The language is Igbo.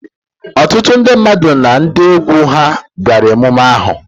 Ọtụtụ ndị mmadụ na ndị egwu ha bịara ememme ahụ.